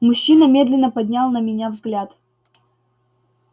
мужчина медленно поднял на меня взгляд